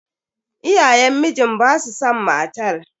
Iyayen mijin basu san matar.